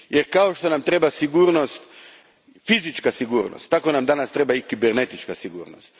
Jer, kao što nam treba fizička sigurnost, tako nam danas treba i kibernetička sigurnost.